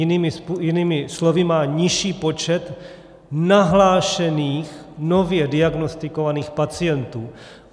Jinými slovy, má nižší počet nahlášených, nově diagnostikovaných pacientů.